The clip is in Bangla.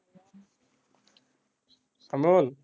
অমল